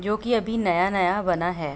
जो कि अभी नया-नया बना है।